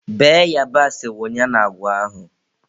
Bee yabasị wunye na agwa ahụ.